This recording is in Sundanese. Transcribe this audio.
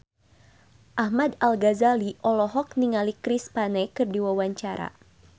Ahmad Al-Ghazali olohok ningali Chris Pane keur diwawancara